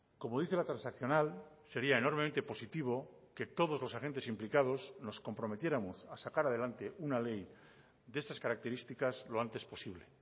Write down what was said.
como dice la transaccional sería enormemente positivo que todos los agentes implicados nos comprometiéramos a sacar adelante una ley de estas características lo antes posible